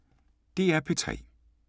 DR P3